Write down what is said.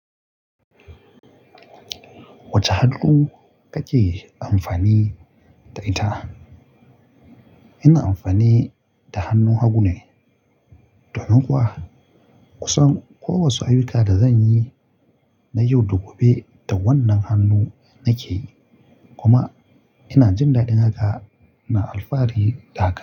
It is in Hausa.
Wace hannu kake amfani da ita? Ina amfani da hannun hagu ne. Domin kuwa kusan kowace ayyuka da zanyi na yau da gobe da wannan hannu nake yi. Kuma ina jin daɗin haka, ina alfahari da haka.